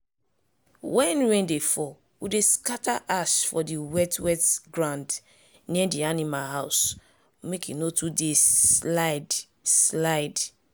when rain dey fall we dey scatter ash for di wet-wet ground near di animal house make e no too dey slide-slide.